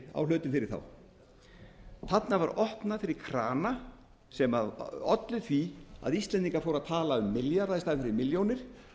á hlutum fyrir þá þarna var opnað fyrir krana sem olli því að íslendingar fóru að tala um milljarða í staðinn fyrir milljónir